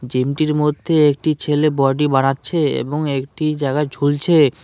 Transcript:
জিমটির মধ্যে একটি ছেলে বডি বাড়াচ্ছে এবং একটি জাগায় ঝুলছে।